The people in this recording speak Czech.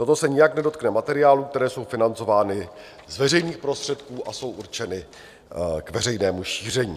Toto se nijak nedotkne materiálů, které jsou financovány z veřejných prostředků a jsou určeny k veřejnému šíření.